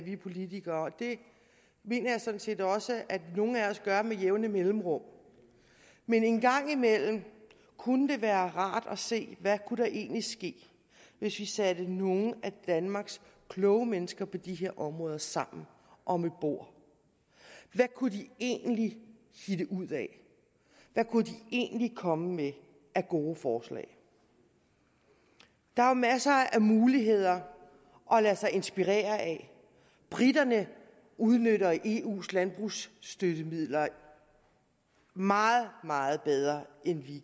vi politikere det mener jeg sådan set også at nogle af os gør med jævne mellemrum men en gang imellem kunne det være rart at se hvad der egentlig kunne ske hvis vi satte nogle af danmarks kloge mennesker på de her områder sammen om et bord hvad kunne de egentlig finde ud af hvad kunne de egentlig komme med af gode forslag der er masser af muligheder at lade sig inspirere af briterne udnytter eus landbrugsstøttemidler meget meget bedre end